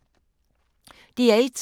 DR1